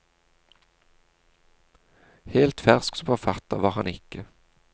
Helt fersk som forfatter var han ikke.